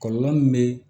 Kɔlɔlɔ min bɛ